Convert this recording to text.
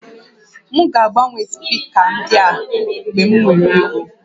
M ga-agbanwe spika ndị a mgbe m nwere ego